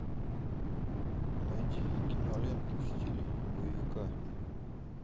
найди киноленту в стиле боевика